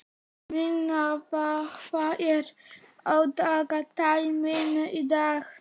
Minerva, hvað er á dagatalinu mínu í dag?